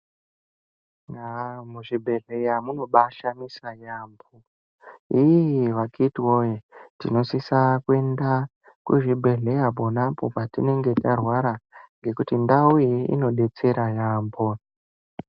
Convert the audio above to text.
Muzvibhedhlera munobashamisa yaambo. Akiti woye tinosisa kuenda kuzvibhedhlera ponapo patinenge tarwara ngekuti ndau iyi inodetsera yambo.